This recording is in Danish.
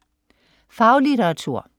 Faglitteratur